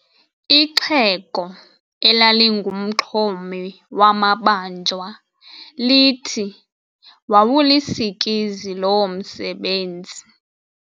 Ixhego elalingumxhomi wamabanjwa lithi wawulisikizi loo msebenzi.